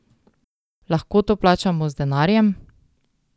Lahko to plačamo z denarjem?